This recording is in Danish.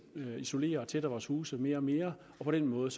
isolerer og tætter vores huse mere og mere på den måde